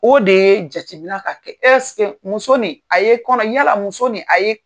O de ye jatemina ka kɛ ɛseke muso nin a ye kɔnɔ yala muso nin a ye